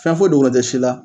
Fɛn foyi dogolen tɛ si la